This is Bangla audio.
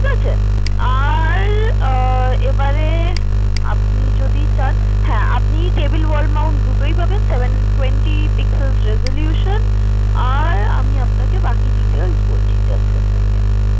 ঠিকাছে আর আহ এবারে আপনি যদি চান হ্যাঁ আপনি table wall mount দুটোই পাবেন। seven twenty pixel resolution আর আমি আপনাকে বাকি Details বলছি Just a second